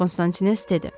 Konstantines dedi.